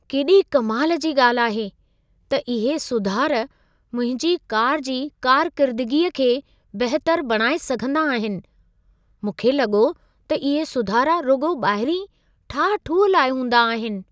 केॾे कमाल जी ॻाल्हि आहे, त इहे सुधार मुंहिंजी कार जी कारकिरिदिगीअ खे बहितर बणाए सघंदा आहिनि। मूंखे लॻो त इहे सुधारा रुॻो ॿाहिरीं ठाह-ठूह लाइ हूंदा आहिनि।